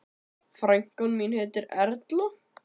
Frænka mín heitir Erla.